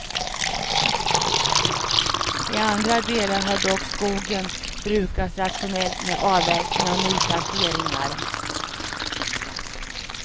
I andra delar har dock skogen brukats rationellt med avverkningar och nyplanteringar.